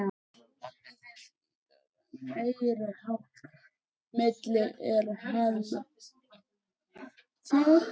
Pabbi þinn hlýtur að vera meiriháttar milli, er hann það?